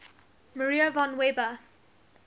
maria von weber